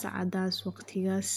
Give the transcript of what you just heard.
sacadas iyo waqtigas.